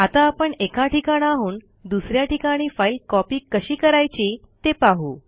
आता आपण एका ठिकाणाहून दुस या ठिकाणी फाईल कॉपी कशी करायची ते पाहू